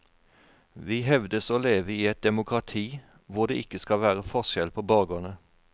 Vi hevdes å leve i et demokrati hvor det ikke skal være forskjell på borgerne.